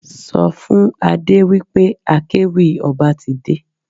Sọ fún Adé wí pé akéwì ọba ti dé.